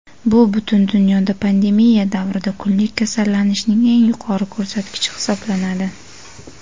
bu butun dunyoda pandemiya davrida kunlik kasallanishning eng yuqori ko‘rsatkichi hisoblanadi.